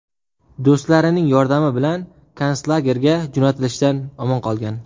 Do‘stlarining yordami bilan konslagerga jo‘natilishdan omon qolgan.